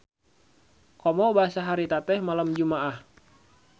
Komo basa harita teh malem Jumaah.